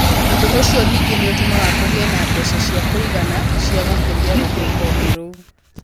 Ũndũ ũcio ningĩ nĩ ũtũmaga kũgĩe na mbeca cia kũigana cia gũkũria rũhonge rũu.